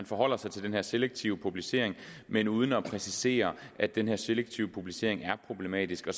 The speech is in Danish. forholder sig til den her selektive publicering men uden at præcisere at den her selektive publicering er problematisk